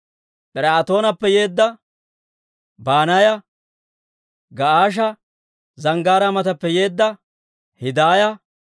Pir"aatoonappe yeedda Banaaya, Ga'aasha Zanggaaraa matappe yeedda Hiddaaya,